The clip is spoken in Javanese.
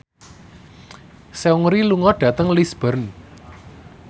Seungri lunga dhateng Lisburn